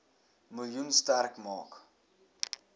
miljoen sterk maak